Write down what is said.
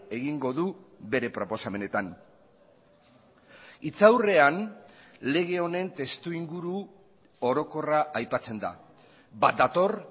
egingo du bere proposamenetan hitzaurrean lege honen testu inguru orokorra aipatzen da bat dator